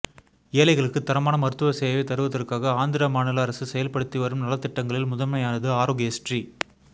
ஏழைகளுக்கு தரமான மருத்துவ சேவையை தருவதற்காக ஆந்திர மாநில அரசு செயல்படுத்திவரும் நல திட்டங்களில் முதன்மையானது ஆரோக்ய ஸ்ரீ